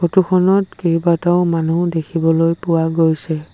Photo খনত কেইবাটাও মানুহ দেখিবলৈ পোৱা গৈছে।